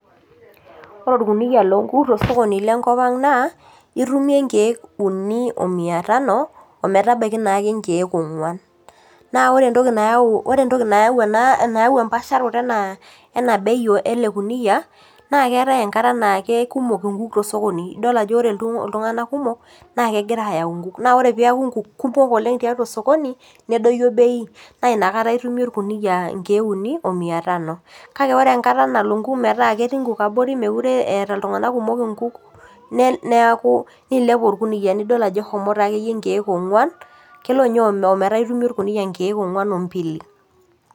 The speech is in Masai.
Ore orkunia lonkuk tosokoni lenkop ang naa itumie inkeek uni o mia tano ometabaiki naake inkeek ong'uan naore entoki nayau ore entoki nayau ena nayau empaasharoto ena ena bei ele kuniyia naa keetae enkata naa kekumok inkuk tesokoni idol ajo ore iltung'anak kumok naa kegira ayau inkuk naore piaku inkuk kumok oleng tiatua osokoni nedoyio bei naa inakata itumie orkuniyia inkeek uni o mia tano kake ore enkata nalo inkuk metaa ketii inkuk abori mekure eh eeta iltung'anak kumok inkuk nel neaku niilep orkuniyia nidol ajo ehomo taakeyie inkeek ong'uan kelo inye ome ometaa itumie orkuniyia inkeek ong'ua ombili.